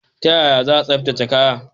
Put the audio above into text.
Ta yaya za a tsaftace kaya?